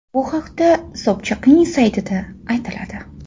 Bu haqda Sobchakning saytida aytiladi .